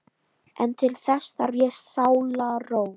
En til þess þarf ég sálarró!